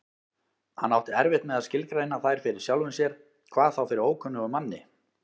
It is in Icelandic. Hann átti erfitt með að skilgreina þær fyrir sjálfum sér, hvað þá fyrir ókunnugum manni.